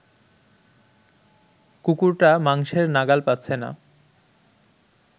কুকুরটা মাংসের নাগাল পাচ্ছে না